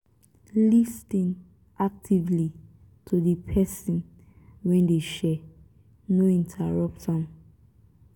lis ten actively to di person wey dey share no interrupt am